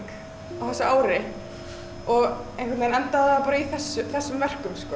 á þessu ári og einhvern veginn endaði það bara í þessum þessum verkum sko